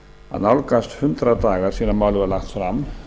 að nálgast hundrað dagar síðan málið var lagt fram